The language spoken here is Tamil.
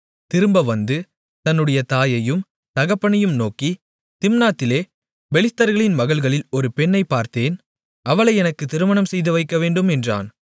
திரும்ப வந்து தன்னுடைய தாயையும் தகப்பனையும் நோக்கி திம்னாத்திலே பெலிஸ்தர்களின் மகள்களில் ஒரு பெண்ணைப் பார்த்தேன் அவளை எனக்குத் திருமணம் செய்துவைக்கவேண்டும் என்றான்